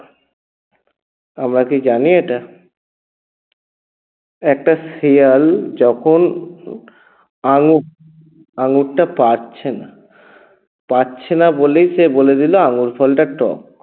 আমরাা কী জানি এটা? একটা শিয়াল যখন আঙ্গুরটা পাচ্ছে না পাচ্ছে না বলেই সে বলে দিল আঙ্গুরফলটা টক